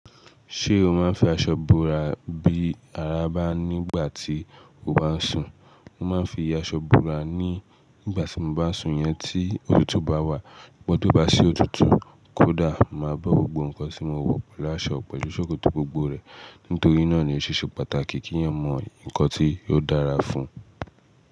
Ṣé o máa ń fi aṣọ bora bí ara bá nígbà tí o bá ń sùn? Mo máa ń fi aṣọ bora ní ìgbà tí mo bá sùn iyẹn tí òtútù bá wà. But tó bá sì òtútù kódà, màá bọ́ gbogbo nǹkan tí mo wọ pẹ̀lú aṣọ pẹ̀lú ṣòkòtò gbogbo rẹ̀. Nítorí náà ni ó ṣeṣe pàtàkì kí èèyàn mọ nǹkan tí ò dára fún un.